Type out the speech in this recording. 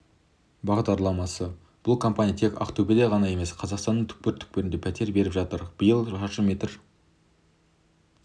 бағдарламасы бұл компания тек ақтөбеде ғана емес қазақстанның түкпір-түкпірінде пәтер беріп жатыр биыл шаршы метр